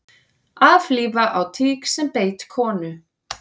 Aflífa á tík sem beit konu